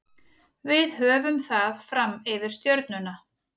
Við höfum það fram yfir Stjörnuna.